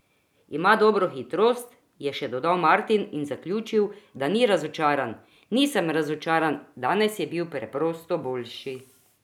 Ima dobro hitrost," je še dodal Martin in zaključil, da ni razočaran: "Nisem razočaran, danes je bil preprosto boljši.